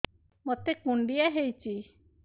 ମୋତେ କୁଣ୍ଡିଆ ହେଇଚି